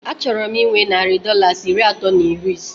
A chọrọ m inwe narị Dọlas iri atọ na iri isé